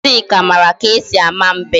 Ngozika mara ka e si ama mbem